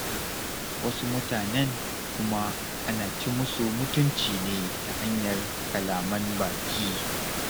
Wasu mutanen kuma ana ci musu mutunci ne ta hanyar kalaman baki.